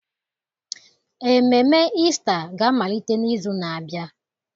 Ememe Ista ga-amalite n'izu na-abịa.